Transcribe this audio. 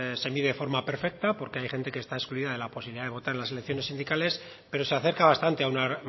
se mide de forma perfecta porque hay gente que está excluida de la posibilidad de votar en las elecciones sindicales pero se acerca bastante a una